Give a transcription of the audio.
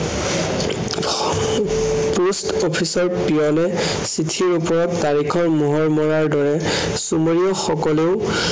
post office ৰ peon য়ে চিঠিৰ ওপৰত তাৰিখৰ মোহৰ মৰাৰ দৰে চোমেৰিয় সকলেও